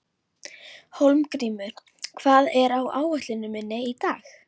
Hólmgrímur, hvað er á áætluninni minni í dag?